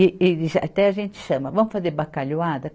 E, e até a gente chama, vamos fazer bacalhoada?